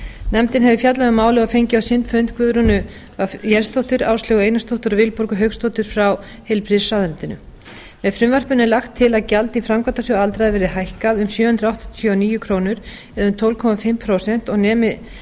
nefndin hefur fjallað um málið og fengið á sinn fund guðrúnu w jensdóttur áslaugu einarsdóttur og vilborgu hauksdóttur frá heilbrigðisráðuneyti með frumvarpinu er lagt til að gjald í framkvæmdasjóð aldraðra verði hækkað um sjö hundruð áttatíu og níu krónur eða um tólf og hálft prósent og nemi